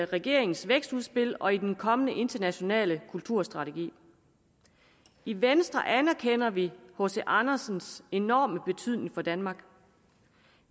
regeringens vækstudspil og den kommende internationale kulturstrategi i venstre anerkender vi hc andersens enorme beydning for danmark